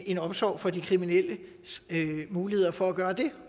en omsorg for de kriminelles muligheder for at gøre det